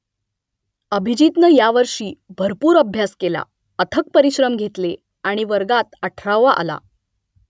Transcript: अभिजीतनं यावर्षी भरपूर अभ्यास केला अथक परिश्रम घेतले आणि वर्गात अठरावा आला